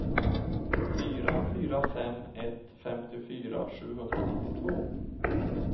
fyra fyra fem ett femtiofyra sjuhundranittiotvå